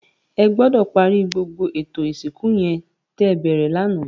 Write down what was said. Ègbòdò pàri gbógbó étó isinkú yèn tè bèrè làná